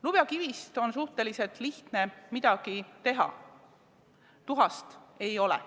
Lubjakivist on suhteliselt lihtne midagi teha, tuhast ei ole.